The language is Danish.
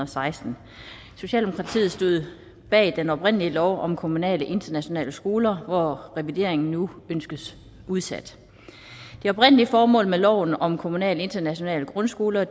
seksten socialdemokratiet stod bag den oprindelige lov om kommunale internationale skoler hvor revideringen nu ønskes udsat det oprindelige formål med loven om kommunale internationale grundskoler